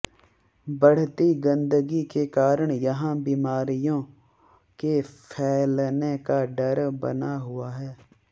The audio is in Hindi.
बढ़ती गंदगी के कारण यहां बीमारियों के फैलने का डर बना हुआ है